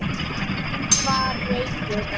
Hann var reiður.